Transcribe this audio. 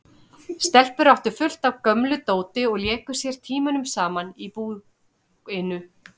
Stelpurnar áttu fullt af gömlu dóti og léku sér tímunum saman í búinu.